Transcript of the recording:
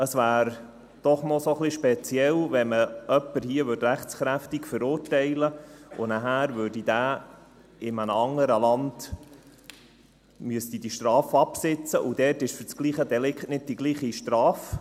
Es wäre doch noch ein wenig speziell, wenn man hier jemanden rechtskräftig verurteilte, und nachher müsste dieser seine Strafe in einem anderen Land absitzen, und dort gibt es für das gleiche Delikt nicht die gleiche Strafe.